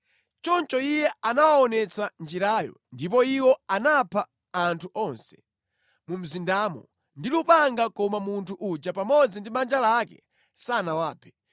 Choncho iye anawaonetsa njirayo, ndipo iwo anapha anthu onse mu mzindamo ndi lupanga koma munthu uja pamodzi ndi banja lake sanawaphe.